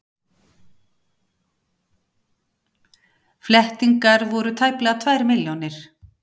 Flettingar voru tæplega tvær milljónir.